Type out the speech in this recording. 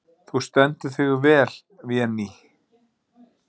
Þú stendur þig vel, Véný!